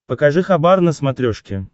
покажи хабар на смотрешке